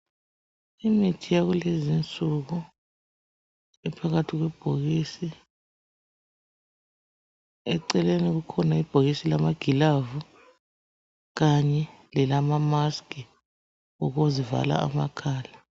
Imithi yakulezinsuku iphakathi kwebhokisi. Eceleni kukhona ibhokisi lamagilavu kanye lelama mask okuzivala amakhala